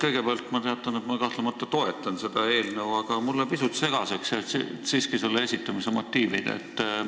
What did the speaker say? Kõigepealt ma teatan, et ma kahtlemata toetan seda eelnõu, aga mulle jäid siiski pisut segaseks selle esitamise motiivid.